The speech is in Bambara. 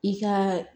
I ka